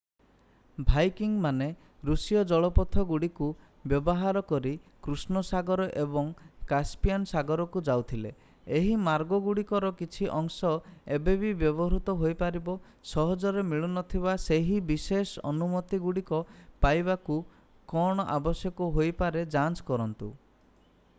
ଭାଇକିଙ୍ଗମାନେ ଋଷୀୟ ଜଳପଥଗୁଡ଼ିକୁ ବ୍ୟବହାର କରି କୃଷ୍ଣ ସାଗର ଏବଂ କାସପିଆନ୍ ସାଗରକୁ ଯାଉଥିଲେ ଏହି ମାର୍ଗଗୁଡ଼ିକର କିଛି ଅଂଶ ଏବେ ବି ବ୍ୟବହୃତ ହୋଇପାରିବ ସହଜରେ ମିଳୁନଥିବା ସେହି ବିଶେଷ ଅନୁମତିଗୁଡ଼ିକ ପାଇବାକୁ କ'ଣ ଆବଶ୍ୟକ ହୋଇପାରେ ଯାଞ୍ଚ କରନ୍ତୁ